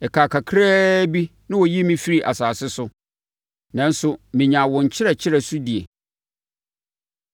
Ɛkaa kakra bi na wɔyi me firi asase so, nanso mennyaa wo nkyerɛkyerɛ so die.